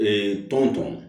tɔn tɔn